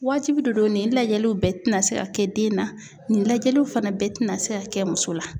Waatibi don nin lajɛliw bɛɛ ti na se ka kɛ den na nin lajɛliw fana bɛɛ tɛna se ka kɛ .muso la